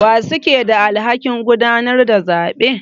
Wa suke da alhakin gudanar da zabe?